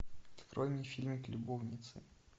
открой мне фильм любовницы